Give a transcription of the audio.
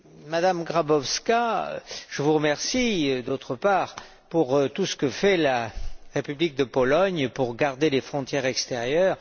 Madame Grabowska, je vous remercie, d'autre part, pour tout ce que fait la République de Pologne pour garder les frontières extérieures.